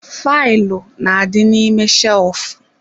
Faịlụ n'adi n'ime shelfu